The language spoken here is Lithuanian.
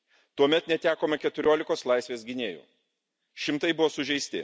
Tuomet netekome 14 kos laisvės gynėjų, šimtai buvo sužeisti.